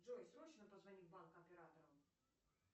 джой срочно позвони в банк операторам